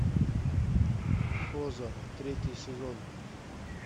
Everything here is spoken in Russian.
озарк третий сезон